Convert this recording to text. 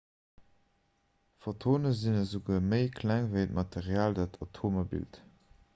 photone sinn esouguer méi kleng ewéi d'material dat atomer bilt